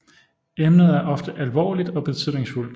Emnet er ofte alvorligt og betydningsfuldt